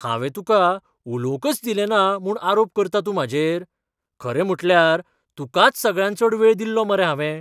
हांवें तुका उलोवंकच दिलें ना म्हूण आरोप करता तूं म्हाजेर? खरें म्हुटल्यार तुकाच सगळ्यांत चड वेळ दिल्लो मरे हावें.